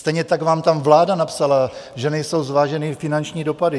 Stejně tak vám tam vláda napsala, že nejsou zváženy finanční dopady.